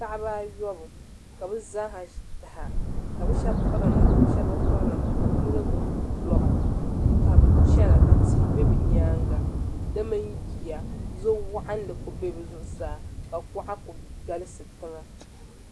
Paɣaba ayobu ka bi zaaha ʒi taha ka bi shab piri namda nima ka bi shab bi piri namda ka bi yino gbubi roba ka bi chɛna ka tihi bɛ bi nyaanga di mini yiya zo waɣanli ku bɛ bi zuɣusaa ka kuɣa ku galisi tiŋa